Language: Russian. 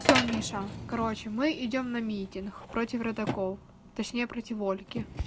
всё миша короче мы идём на митинг против родителей точнее против ольги